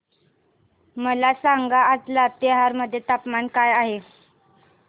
मला सांगा आज लातेहार मध्ये तापमान काय आहे